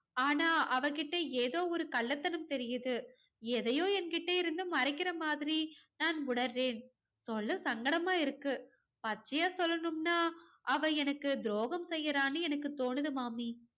ஆனா அவ கிட்ட ஏதோ ஒரு கள்ளத்தனம் தெரியுது. எதையோ என்கிட்ட இருந்து மறைக்கிற மாதிரி நான் உணர்றேன். சொல்ல சங்கடமா இருக்கு. பச்சையா சொல்லணும்னா அவ எனக்கு துரோகம் செய்யறான்னு எனக்கு தோணுது மாமி.